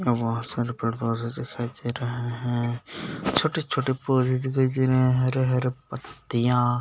और बहुत सारे पेड़-पौधे दिखाई दे रहे है छोटे- छोटे पौधे दिखाई दे रहे है हरे - हरे पत्तियाँ --